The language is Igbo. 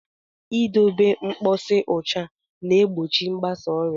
I dobe mposi ụcha na-egbochi mgbasa ọrịa.